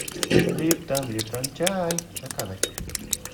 липтон липтон чай заказать